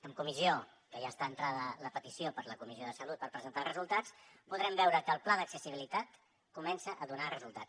en comissió que ja està entrada la petició per a la comissió de salut per presentar els resultats podrem veure que el pla d’accessibilitat comença a donar resultats